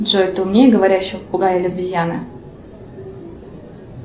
джой ты умнее говорящего попугая или обезьяны